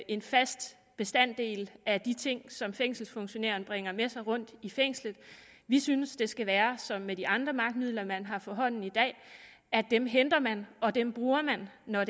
en fast bestanddel af de ting som fængselsfunktionæren bringer med sig rundt i fængslet vi synes det skal være som med de andre magtmidler man har for hånden i dag at dem henter man og dem bruger man når